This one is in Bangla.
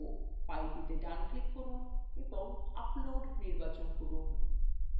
ফাইলটিতে ডানclick করুন এবং upload নির্বাচন করুন